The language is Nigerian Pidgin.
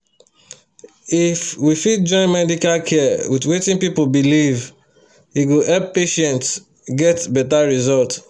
if we fit join medical care with wetin people believe e go help patients get better result